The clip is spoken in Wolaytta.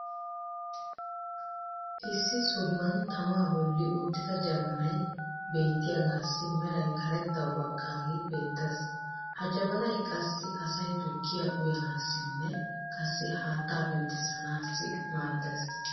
issi sohuwan tamaa boli uttida jabbanay beetiyaagassi meray karettawu baqaagee beetees. ha jabannay qassi asay tukkiya uyanaassinne qassi haattaa penttissanaassi maadees.